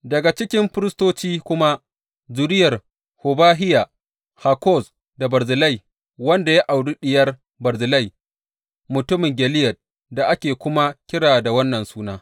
Daga cikin firistoci kuma, zuriyar Hobahiya, Hakkoz da Barzillai wanda ya auri diyar Barzillai mutumin Gileyad da ake kuma kira da wannan suna.